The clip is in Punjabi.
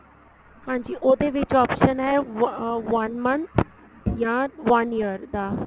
ਹਾਂਜੀ ਉਹਦੇ ਵਿੱਚ option ਏ one month ਜਾਂ one year ਦਾ